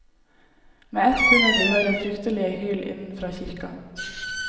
Med ett kunne de høre fryktelige hyl innenfra kirka.